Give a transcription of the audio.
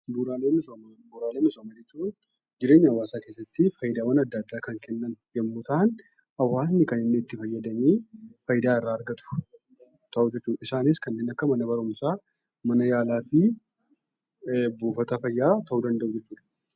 Bu'uuraalee misoomaa jechuun jireenya hawaasaa keessatti faayidaawwan adda addaa kan kennan yommuu ta'an, hawaasni kan inni itti fayyadamee faayidaa irraa argatu yoo ta'u, isaanis kanneen akka mana barumsaa mana yaalaa fi buufata fayyaa ta'uu danda'u jechuudha.